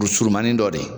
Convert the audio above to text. Du surumanin dɔ de ye